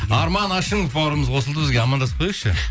арман ашимов бауырымыз қосылды бізге амандасып қояйықшы